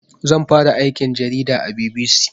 Zan fara aikin jarida a BBC